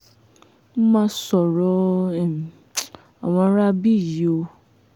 mo mà sọ̀rọ̀ um àwọn aráabí yìí o